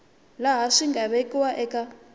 laha swi nga vekiwa eka